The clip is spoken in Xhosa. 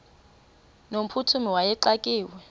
no mphuthumi wayexakiwe